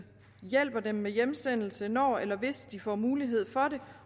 hjælper dem med hjemsendelse når eller hvis de får mulighed for det